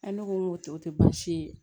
ne ko n ko tɛ o tɛ baasi ye